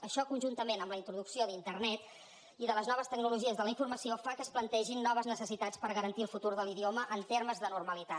això conjuntament amb la introducció d’internet i de les noves tecnologies de la informació fa que es plantegin noves necessitats per garantir el futur de l’idioma en termes de normalitat